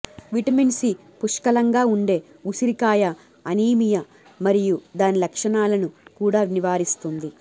vitamin C పుష్కలంగా ఉండే ఉసిరికాయ అనీమియా మరియు దాని లక్షణాలను కూడా నివారిస్తుంది